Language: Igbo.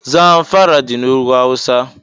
Zamfara dị n' ùgwù awụsa.